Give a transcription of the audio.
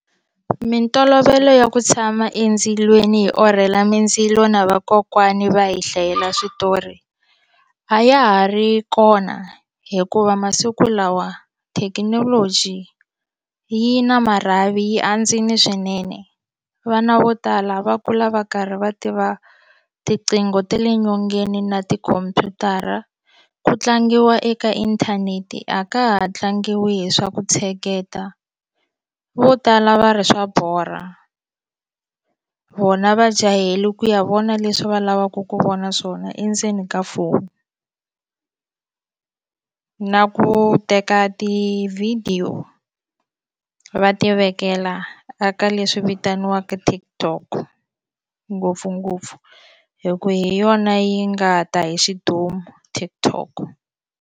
Mintolovelo ya ku tshama endzilweni hi orhela mindzilo na vakokwani va hi hlayela switori a ya ha ri kona hikuva masiku lawa thekinoloji yi na marhavi yi andzile swinene vana vo tala va kula va karhi va tiva tiqingho ta le nyongeni na tikhompyutara ku tlangiwa eka inthanete a ka ha tlangiwi hi swa ku tsheketa vo tala va ri swa borha vona va jahele ku ya vona leswi va lavaka ku vona swona endzeni ka foni na ku teka tivhidiyo va ti vekela a ka leswi vitaniwaka TikTok ngopfungopfu hi ku hi yona yi nga ta hi xidumu TikTok.